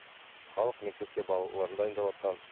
халық мектепке балаларын дайындаватқан